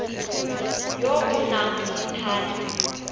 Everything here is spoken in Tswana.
yo o nang le thata